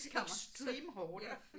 Extreme hoarder